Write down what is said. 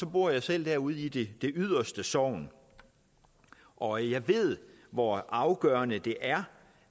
bor jeg selv derude i det det yderste sogn og jeg ved hvor afgørende det er